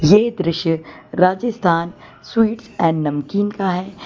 ये दृश्य Rajasthan sweets and namkeen का है।